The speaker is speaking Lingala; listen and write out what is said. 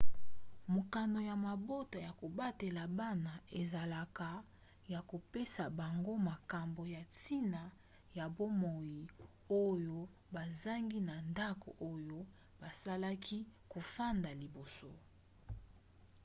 mokano ya mabota ya kobatela bana ezalaka ya kopesa bango makambo ya ntina ya bomoi oyo bazangi na ndako oyo bazalaki kofanda liboso